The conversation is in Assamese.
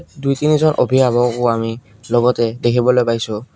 দুই তিনিজন অভিভাৱকও আমি লগতে দেখিবলৈ পাইছোঁ।